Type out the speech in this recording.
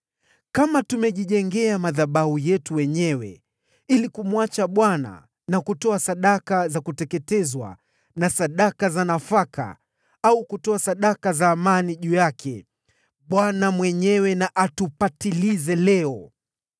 Kama tumejijengea madhabahu yetu wenyewe ili kumwacha Bwana na kutoa sadaka za kuteketezwa na sadaka za nafaka, au kutoa sadaka za amani juu yake, Bwana mwenyewe na atupatilize leo.